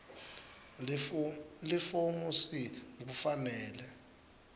lifomu c kufanele